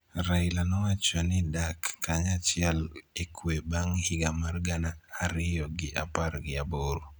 Raila nowacho ni dak kanyachiel e kwe bang� higa mar gana ariyo gi apar gi aboro